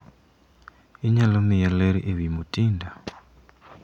Inyalo miya ler ewi Mutinda?